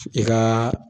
I ka